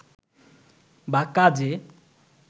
বা কাজে